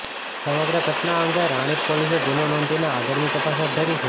સમગ્ર ઘટના અંગે રાણીપ પોલીસે ગુનો નોંધીને આગળની તપાસ હાથ ધરી છે